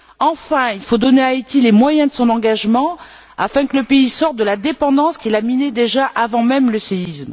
Enfin, il faut donner à Haïti les moyens de son engagement afin que le pays sorte de la dépendance qui le minait déjà avant même le séisme.